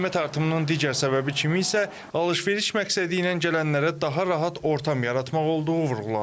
Qiymət artımının digər səbəbi kimi isə alış-veriş məqsədi ilə gələnlərə daha rahat ortam yaratmaq olduğu vurğulandı.